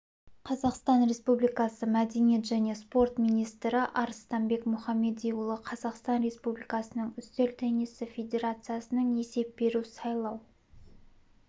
қазақстан республикасы мәдениет және спорт министрі арыстанбек мұхамедиұлы қазақстан республикасының үстел теннисі федерациясының есеп беру-сайлау